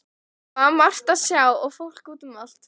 Það var margt að sjá og fólk út um allt.